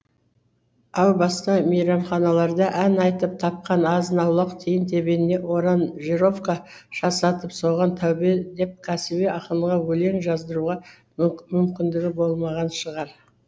әу баста мейрамханаларда ән айтып тапқан азын аулақ тиын тебеніне оранжировка жасатып соған тәубе деп кәсіби ақынға өлең жаздыруға мүмкіндігі болмаған шығар